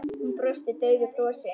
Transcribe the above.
Hún brosti daufu brosi.